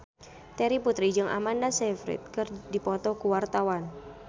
Terry Putri jeung Amanda Sayfried keur dipoto ku wartawan